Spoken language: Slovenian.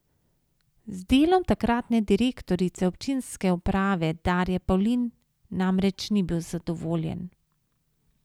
Z delom takratne direktorice občinske uprave Darje Pavlin namreč ni bil zadovoljen.